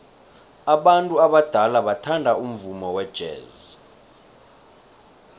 abantu abadala bathanda umvumo wejazz